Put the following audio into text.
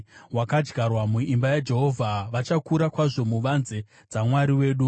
wakadyarwa muimba yaJehovha, vachakura kwazvo muvanze dzaMwari wedu.